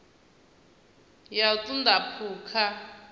ya u ṱun ḓa phukha